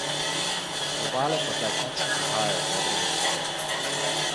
Z Obale pa zdaj končno prihajajo dobre novice.